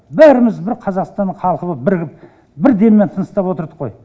бәріміз бір қазақстан халқы боп бірігіп бір деммен тыныстап отырдық қой